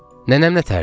Nənəm nətərdir?